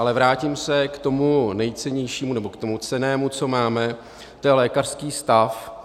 Ale vrátím se k tomu nejcennějšímu, nebo k tomu cennému, co máme, to je lékařský stav.